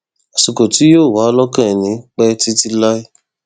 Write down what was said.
àsìkò tí yóò wà lọkàn ẹni pẹ títí láé